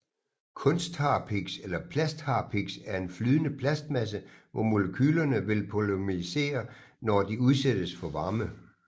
Kunstharpiks eller plastharpiks er en flydende plastmasse hvor molekylerne vil polymerisere når de udsættes for varme